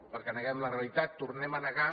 perquè neguem la realitat tornem a negar